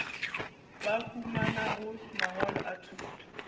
ba humanago mangwalo a thuto